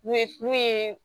N'u ye n'u ye